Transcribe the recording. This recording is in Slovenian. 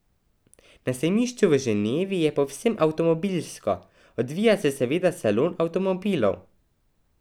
Na sejmišču v Ženevi je povsem avtomobilsko, odvija se seveda salon avtomobilov.